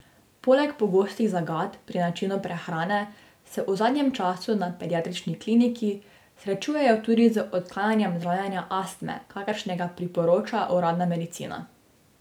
Poleg pogostih zagat pri načinu prehrane se v zadnjem času na Pediatrični kliniki srečujejo tudi z odklanjanjem zdravljenja astme, kakršnega priporoča uradna medicina.